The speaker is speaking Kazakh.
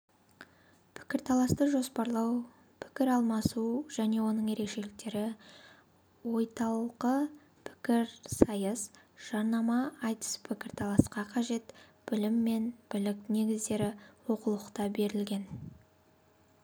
пікірталасты жоспарлау пікіралмасу және оның ерекшеліктері ойталқы пікірсайыс жарнама айтыс пікірталасқа қажет білім мен білік негіздері оқулықта берілген